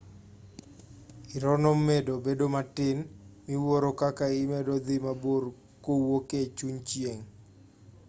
irono medo bedo matin miwuoro kaka imedo dhi mabor kowuok e chuny chieng'